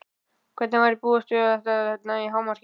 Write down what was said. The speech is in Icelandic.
Hvenær búist þið við að þetta nái hámarki?